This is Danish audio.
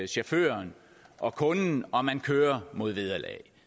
chaufføren og kunden og man kører mod vederlag